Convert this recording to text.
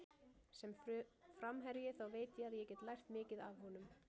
Sem framherji þá veit ég að ég get lært mikið af honum.